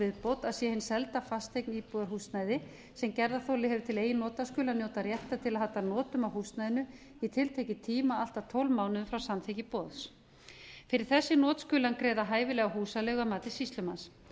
viðbót að sé hin selda fasteign íbúðarhúsnæði sem gerðarþoli hefur tileigin nota skuli hann njóta réttar til að halda notum á húsnæðinu í tiltekinn tíma allt að tólf mánuðum frá samþykki boðs fyrir þessi not skuli hann greiða hæfilega húsaleigu að mati sýslumanns